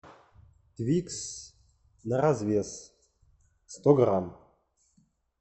твикс на развес сто грамм